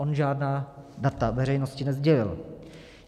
On žádná data veřejnosti nesdělil.